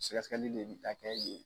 Sikɛsɛkɛli le bɛ taa kɛ yen.